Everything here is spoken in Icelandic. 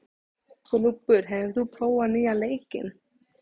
Gnúpur, hefur þú prófað nýja leikinn?